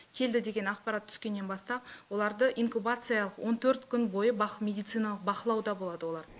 келді деген ақпарат түскеннен бастап оларды инкубациялық он төрт күн бойы медициналық бақылауда болады олар